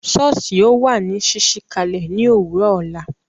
Soosi ó wà ní ṣíṣí kalẹ ni òwúrò ọ̀la